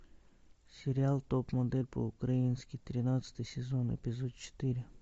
сериал топ модель по украински тринадцатый сезон эпизод четыре